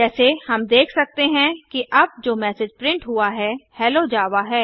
जैसे हम देख सकते हैं कि अब जो मैसेज प्रिंट हुआ है हेलो जावा है